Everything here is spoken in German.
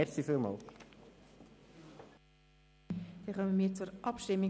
Damit kommen wir zur Abstimmung: